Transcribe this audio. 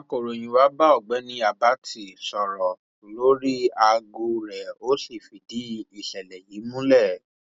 akọròyìn wá bá ọgbẹni àbàtì àbàtì sọrọ lórí aago rẹ ó sì fìdí ìṣẹlẹ yìí múlẹ